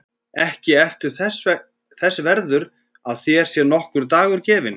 Ekki ertu þess verður að þér sé nokkur dagur gefinn.